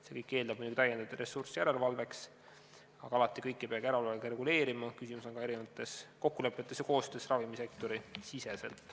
See kõik eeldab muidugi lisaressurssi järelevalveks, aga alati ei peagi kõike järelevalvega reguleerima, küsimus on ka kokkulepetes ja koostöös ravimisektori sees.